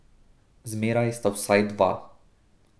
Zmeraj sta vsaj dva.